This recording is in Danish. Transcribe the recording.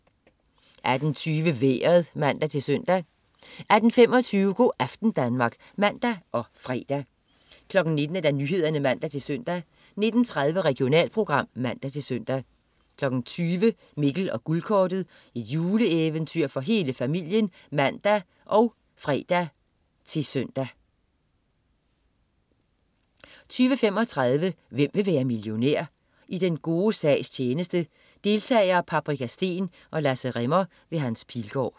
18.20 Vejret (man-søn) 18.25 Go' aften Danmark (man og fre) 19.00 Nyhederne (man-søn) 19.30 Regionalprogram (man-søn) 20.00 Mikkel og Guldkortet. Juleeventyr for hele familien (man og fre-søn) 20.35 Hvem vil være millionær? I den gode sags tjeneste. Deltagere: Paprika Steen og Lasse Rimmer. Hans Pilgaard